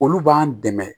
Olu b'an dɛmɛ